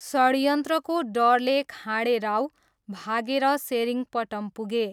षडयन्त्रको डरले खाँडे राव भागेर सेरिङ्गपटम पुगे।